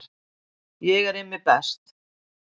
Ég er Immi best